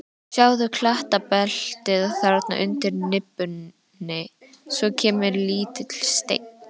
Sjáðu klettabeltið þarna undir nibbunni, svo kemur lítill steinn.